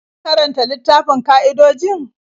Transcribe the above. Ka karanta littafin ƙa'idojin?